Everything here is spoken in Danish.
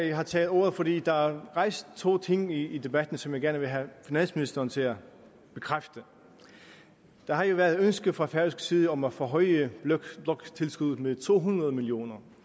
jeg har taget ordet fordi der er blevet rejst to ting i debatten som jeg gerne vil have finansministeren til at bekræfte der har jo været ønske fra færøsk side om at forhøje bloktilskuddet med to hundrede million